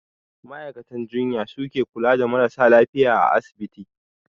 Ma'aikatan jinya su ke kula da marasa lafiya a asibiti.